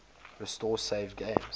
restore saved games